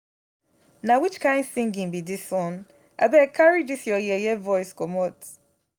na which kin singing be dis one? abeg carry dis your yeye voice comot